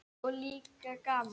Og líka gaman.